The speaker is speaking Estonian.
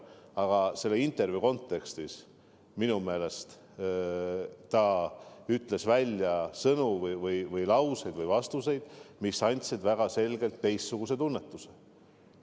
Aga selle intervjuu kontekstis ta ütles minu meelest välja sõnu või lauseid, vastuseid, mis andsid väga selgelt teistsuguse tunnetuse.